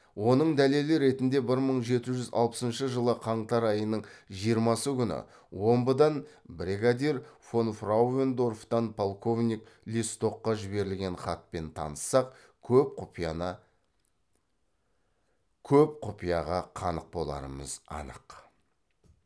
оның дәлелі ретінде бір мың жеті жүз алпысыншы жылы қаңтар айының жиырмасы күні омбыдан брегадир фонфрауендорфтан полковник лестокқа жіберілген хатпен таныссақ көп құпияға қанық боларымыз анық